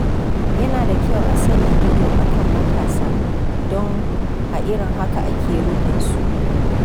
Yana da kyau a sanya ido a kan matasa don a irin haka ake ruɗin su.